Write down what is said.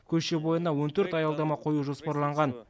көше бойына он төрт аялдама қою жоспарланған